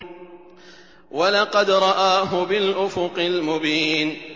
وَلَقَدْ رَآهُ بِالْأُفُقِ الْمُبِينِ